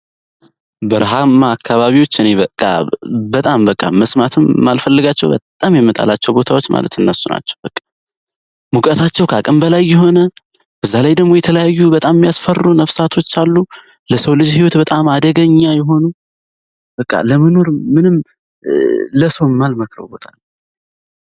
አካባቢዎች እኔ በቃ በጣም በቃ መስማትም አልፈልጋቸው በጣም ማለት እነሱ ናቸው በቃ ሙቀታቸው ከአቅም በላይ ይሆናል በጣም ያስፈሩ ነፍሳቶች አሉ ለሰው ልጆች በጣም አደገኛ የሆኑ በቃ ለመኖር